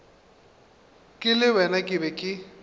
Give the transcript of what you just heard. ke le wena ke be